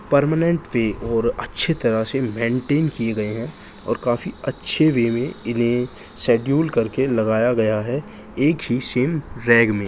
Permanent पे और अच्छे तरह से मेन्टेन किए गए हैं और काफी अच्छे वे में इन्हे शेडूल करके लगाया गया है एक ही सेम रैग में।